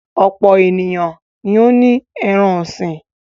Ọ̀pọ̀ ènìyàn ni ó ní ẹran-ọ̀sìn.